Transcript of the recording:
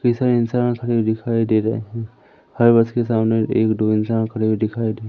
कई सारे इंसान खड़े हुए दिखाई दे रहे है हर बस के सामने एक दो इंसान खड़े हुए दिखाई दे --